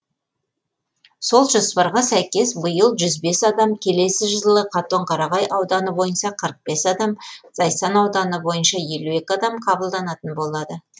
сол жоспарға сәйкес биыл жүз бес адам келесі жылы қатонқарағай ауданы бойынша қырық бес адам зайсан ауданы бойынша елу екі адам қабылданатын болады